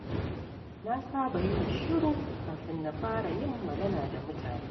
Na saba yin shiru kafin na fara yin magana da mutane.